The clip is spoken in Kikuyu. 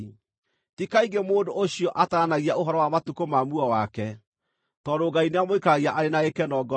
Ti kaingĩ mũndũ ũcio ataranagia ũhoro wa matukũ ma muoyo wake, tondũ Ngai nĩamũikaragia arĩ na gĩkeno ngoro-inĩ.